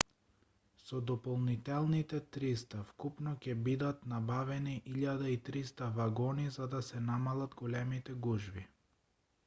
со дополнителните 300 вкупно ќе бидат набавени 1300 вагони за да се намалат големите гужви